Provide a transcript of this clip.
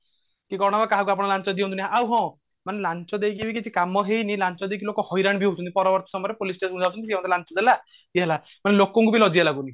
ଜଣେଇବା କାହାକୁ ଆପଣ ଲାଞ୍ଚ ଦିଅନ୍ତୁ ନି ଆଉ ହଁ ମଣେ ଲାଞ୍ଚ ଦେଇକି ବି କିଛି କାମ ହେଇନି ଲାଞ୍ଚ ଦେଇକି ଲୋକ ହଇରାଣ ବି ହଉଛନ୍ତି ପରବର୍ତୀ ସମୟରେ police station ଯାଉଛନ୍ତି କି ଇଏ ମତେ ଲାଞ୍ଚ ଦେଲା ତେଣୁ ଲୋକଙ୍କୁ ବି ଲଜ୍ୟା ଲାଗୁନି